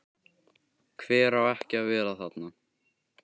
Hver á ekki að vera þarna?